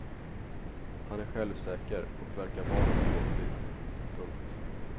Han är självsäker och verkar van att bli åtlydd. punkt